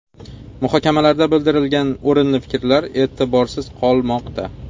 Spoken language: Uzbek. Muhokamalarda bildirilgan o‘rinli fikrlar e’tiborsiz qolmoqda.